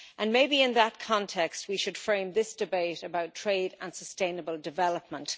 Maybe in that context we should frame this debate about trade and sustainable development.